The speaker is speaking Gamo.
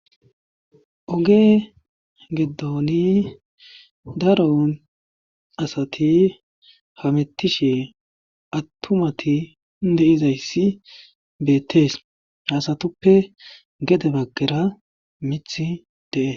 Oge gidon daro asati hametishe atumati de'izayssi beetees. ha asatuppe gedde bagara miththi de'ees.